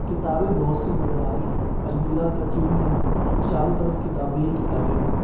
किताबे बहुत सी नजर आ रही हैं अलमिराज रखी हुई हैं और चारों तरफ किताबे ही किताबे हैं।